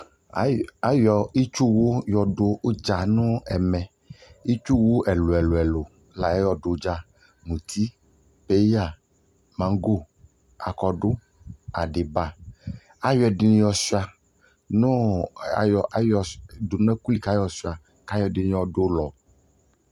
ʋnɛ di lantɛ kʋ ɔsiitsʋ di ɔzati nʋ ʋtʋ vɛgɛlɛ aɣa kʋ ɛkɛlɛmʋ aƒɔ kʋ ʋtʋ vɛgɛlɛ kʋ adʋ awʋ wɛ kʋ ayɔ ɛkʋ wɛ yɔwʋ nʋ ɛlʋ kʋ alʋɛdini bi yanʋ ayidʋ